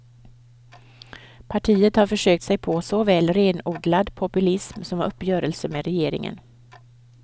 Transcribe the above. Partiet har försökt sig på såväl renodlad populism som uppgörelser med regeringen.